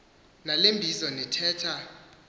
nale mbizo nithetha